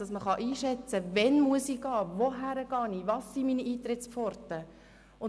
Man muss einschätzen können, wann man gehen muss, und zu wem, und welches die Eintrittspforten sind.